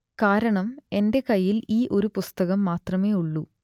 കാരണം എന്റെ കയ്യിൽ ഈ ഒരു പുസ്തകം മാത്രമേ ഉള്ളൂ